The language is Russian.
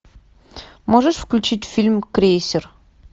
можешь включить фильм крейсер